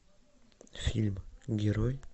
фильм герой